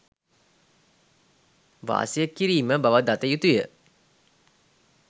වාසය කිරීම බව දත යුතුය